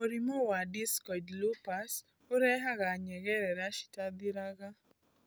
Mũrimũ wa discoid Lupus ũrehaga nyengerera citarathiraga.